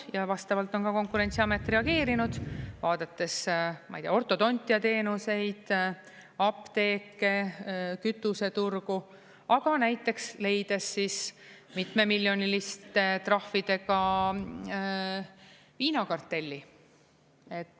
Ja vastavalt on ka Konkurentsiamet reageerinud, vaadates, ma ei tea, ortodontiateenuseid, apteeke, kütuseturgu, aga näiteks leides mitmemiljoniliste trahvidega viinakartelli.